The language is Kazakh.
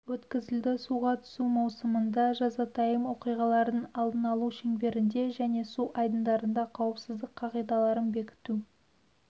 өткізілді суға түсу маусымында жазатайым оқиғалардың алдын алу шеңберінде және су айдындарында қауіпсіздік қағидаларын бекіту